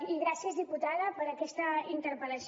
i gràcies diputada per aquesta interpel·lació